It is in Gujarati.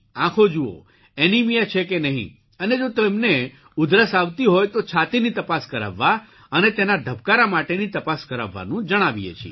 આંખો જુઓ એનીમિયા છે કે નહીં અને જો તેમને ઉદરસ આવતી હોય તો છાતીની તપાસ કરાવવા અને તેનાં ધબકારા માટેની તપાસ કરાવવાનું જણાવીએ છીએ